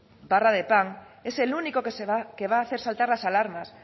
barra de pan es el único que va a hacer saltar las alarmas